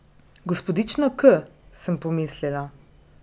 Gospodična K, sem pomislila.